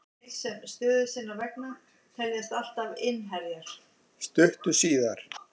Stuttu síðar